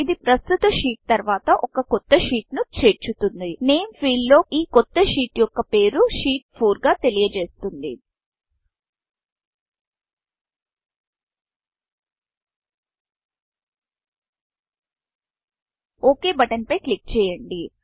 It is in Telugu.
ఇది ప్రస్తుత షీట్ షీట్తర్వాత ఒక కొత్త షీట్ షీట్ను చేర్చుతుంది నేమ్ ఫీల్డ్ నేమ్ ఫీల్డ్లో ఈ కొత్త షీట్ షీట్యొక్క పేరుSheet 4షీట్ 4 గా తెలియజేస్తుంది ఒక్ బటన్ ఓక్ బటన్పై క్లిక్ చేయండి